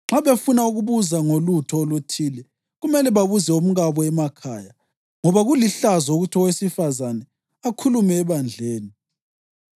Nxa befuna ukubuza ngolutho oluthile, kumele babuze omkabo emakhaya ngoba kulihlazo ukuthi owesifazane akhulume ebandleni.